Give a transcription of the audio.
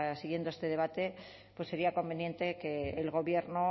siguiendo este debate sería conveniente que el gobierno